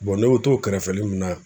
ne be t'o kɛrɛfɛli mun na